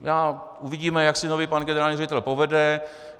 Uvidíme, jak si nový pan generální ředitel povede.